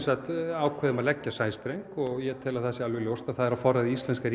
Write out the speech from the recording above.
ákveðum að leggja sæstreng ég tel að það sé á forræði íslenska